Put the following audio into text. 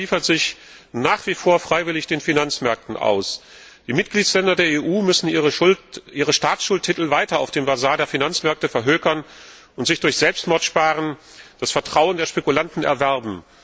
Europa liefert sich nach wie vor freiwillig den Finanzmärkten aus. Die Mitgliedstaaten der EU müssen ihre Staatsschuldtitel weiter auf dem Basar der Finanzmärkte verhökern und sich durch Selbstmordsparen das Vertrauen der Spekulanten erwerben.